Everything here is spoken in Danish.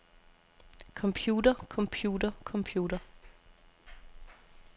computer computer computer